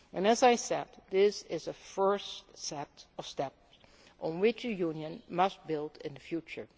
As I said, this is a first set of steps, on which the Union must build in the future.